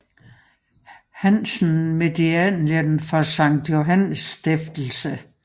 Hansen Medaillen for Sankt Johannes Stiftelse